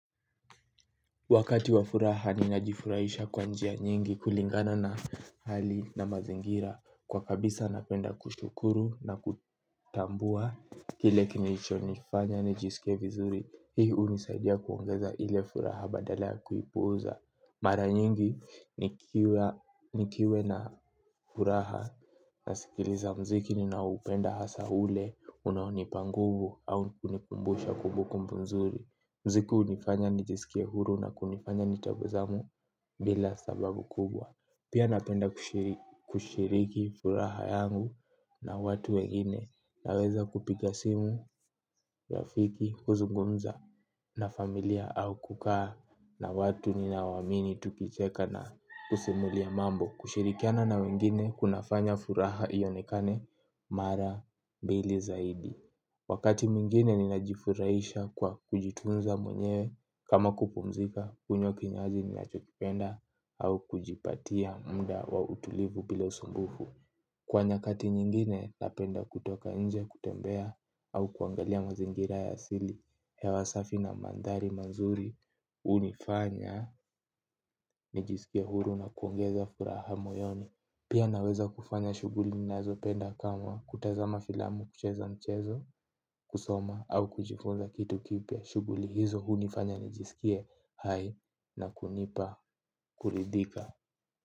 Wakati wa furaha ninajifurahisha kwa njia nyingi kulingana na hali na mazingira. Kwa kabisa napenda kushukuru na kutambua kile kilichonifanya nijisike vizuri. Hii hunisaidia kuongeza ile furaha badala ya kuipuuza. Mara nyingi nikiwa na furaha nasikiliza mziki ninaoupenda hasa ule unao nipa nguvu au kunikumbusha kumbukumbu nzuri mziki hunifanya nijisikie huru na kunifanya nitabasamu bila sababu kubwa. Pia napenda kushiriki furaha yangu na watu wengine naweza kupiga simu rafiki kuzungumza na familia au kukaa na watu ninawamini tukicheka na kusimulia mambo. Kushirikiana na wengine kunafanya furaha ionekane mara bili zaidi. Wakati mwingine ninajifurahisha kwa kujitunza mwenyewe kama kupumzika kunywa kinywaji ninachokipenda au kujipatia mda wa utulivu bila usumbufu. Kwa nyakati nyingine napenda kutoka inje kutembea au kuangalia mazingira ya asili hewa safi na mandhari mazuri hunifanya nijisikie huru na kuongeza furaha moyoni. Pia naweza kufanya shughuli ninazo penda kama kutazama filamu kucheza mchezo kusoma au kujifunza kitu kipya shughuli hizo hunifanya nikisikie hai na kunipa kuridhika.